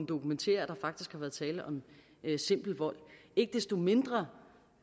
dokumentere at der faktisk har været tale om simpel vold ikke desto mindre